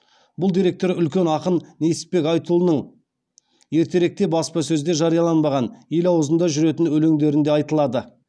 бұл деректер үлкен ақын несіпбек айтұлының ертеректе баспасөзде жарияланбаған ел аузында жүретін өлеңдерінде айтылады